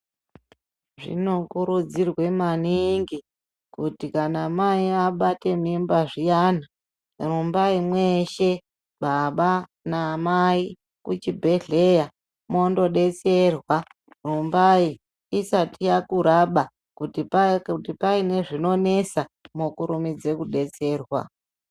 Zvinokurudzirwa maningi kuti kana mai abata mimba zviyani, rumbai mweshe baba namai kuchibhedhleya mwondodetserwa. Rumbai isati yakuraba kuti paa, kuti paine zvinonesa mwokurumidza kudetserwa.